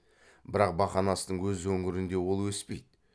бірақ бақанастың өз өңірінде ол өспейді